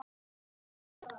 hljóðaði mamma upp yfir sig.